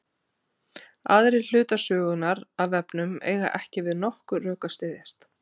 Aðrir hlutar sögunnar af vefnum eiga ekki við nokkur rök að styðjast.